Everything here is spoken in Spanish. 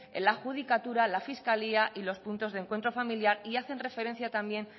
la judicatura la fiscalía y los puntos de encuentro familiar y hacen referencia también